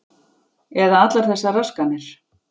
Eða allar þessar raskanir.